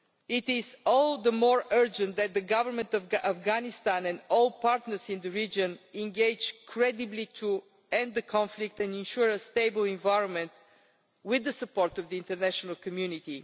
hope. It is all the more urgent that the Government of Afghanistan and all partners in the region engage credibly to end the conflict and ensure a stable environment with the support of the international community.